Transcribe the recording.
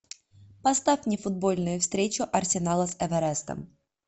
поставь мне футбольную встречу арсенала с эверестом